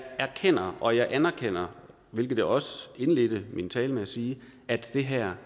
erkender og jeg anerkender hvilket jeg også indledte min tale med at sige at det her